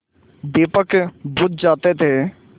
दीपक बुझ जाते थे